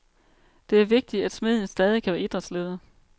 Det er vigtigt, at smeden stadig kan være idrætsleder.